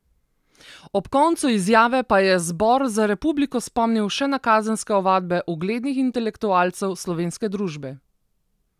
Ob koncu izjave pa je Zbor za republiko spomnil še na kazenske ovadbe uglednih intelektualcev slovenske družbe.